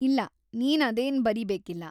ಇಲ್ಲ, ನೀನ್‌ ಅದೇನ್ ಬರೀಬೇಕಿಲ್ಲ.